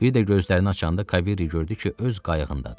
Bir də gözlərini açanda Kavery gördü ki, öz qayığındadır.